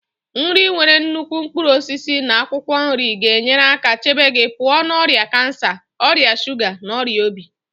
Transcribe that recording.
Nri nwere nnukwu mkpụrụ osisi na akwụkwọ nri ga-enyere aka chebe gị pụọ na ọrịa kansa, ọrịa shuga na ọrịa obi.